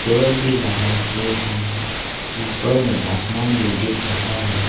पेड़ भी लगा के है ऊपर आसमान भी दिख रहा है।